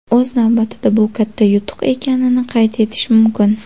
O‘z navbatida bu katta yutuq ekanini qayd etish mumkin.